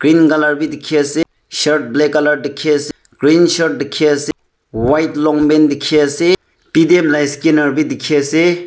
Green colour bi dikhiase shirt black colour dikhiase green shirt dikhiase white long pant dikhiase paytm la scanner bidikhiase.